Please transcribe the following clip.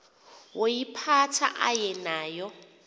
woyiphatha aye nayo